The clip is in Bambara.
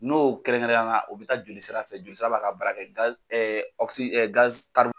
N'o kɛrɛnkɛrɛnya na u bɛ taa jolisira fɛ jolisira b'a ka bara kɛ